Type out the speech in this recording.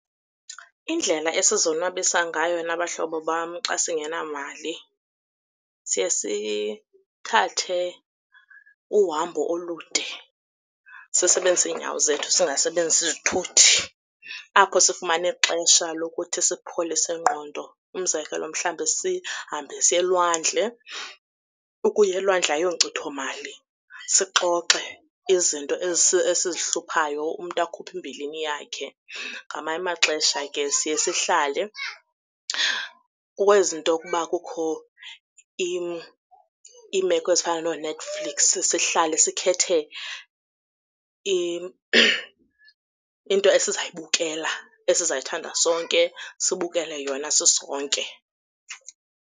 Indlela esizonwabisa ngayo nabahlobo bam xa singenamali siye sithathe uhambo olude sisebenzise iinyawo zethu singasebenzisi izithuthi. Apho sifumana ixesha lokuthi sipholise ingqondo. Umzekelo, mhlawumbi sihambe siye elwandle, ukuya elwandle ayonkcitho mali. Sixoxe izinto esizihluphayo, umntu akhuphe imbilini yakhe. Ngamanye amaxesha ke siye sihlale kwezi nto yokuba kukho iimeko ezifana nooNetflix sihlale sikhethe into esizayibukela esizayithanda sonke, sibukele yona sisonke.